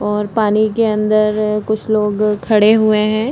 और पानी के अन्दर कुछ लोग खड़े हुएं हैं।